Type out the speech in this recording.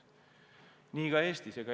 Nii on ka Eestis.